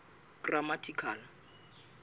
grammatical